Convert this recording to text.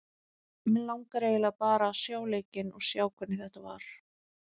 Mig langar eiginlega bara að sjá leikinn og sjá hvernig þetta var.